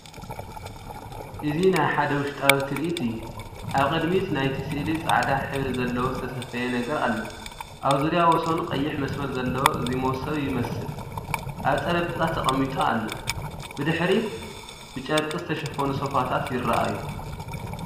እዚ ናይ ሓደ ውሽጣዊ ትርኢት እዩ። ኣብ ቅድሚት ናይቲ ስእሊ ጻዕዳ ሕብሪ ዘለዎ ዝተሰፍየ ነገር ኣሎ፣ ኣብ ዙርያ ወሰኑ ቀይሕ መስመር ዘለዎ እዚ መሶብ ይመስል፣ ኣብ ጠረጴዛ ተቐሚጡ ኣሎ። ብድሕሪት ብጨርቂ ዝተሸፈኑ ሶፋታት ይረኣዩ።